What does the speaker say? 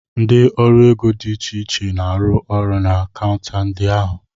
Ndị ọrụ ego dị iche iche na-arụ ọrụ na kaunta ndị ahụ.